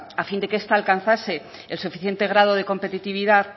a fin de que esta alcanzase el suficiente grado de competitividad